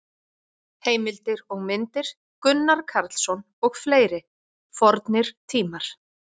Heimildir og myndir: Gunnar Karlsson og fleiri: Fornir tímar.